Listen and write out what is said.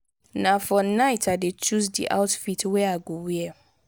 na for night i dey choose di outfit wey i go wear.